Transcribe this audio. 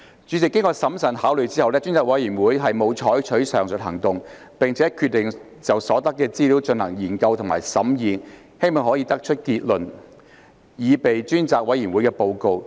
主席，經審慎考慮後，專責委員會沒有採取上述行動，並決定就所得資料進行研究和審議，希望可得出結論，擬備專責委員會的報告。